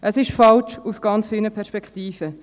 Es ist falsch aus ganz vielen Perspektiven.